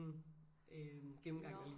Øh gennemgang